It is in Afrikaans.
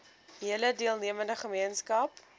hele deelnemende gemeenskap